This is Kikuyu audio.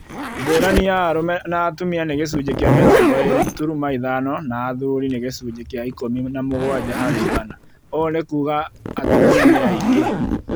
ngũrani ya arũme na atumia nĩ gĩcunjĩ kĩa mĩrongo ĩĩrĩ turuma ithano na athuri nĩ gĩcunjĩ kĩa ikũmi na mũgwanja harĩ igana. Ũũ nĩ kuuga atumia nĩ aingĩ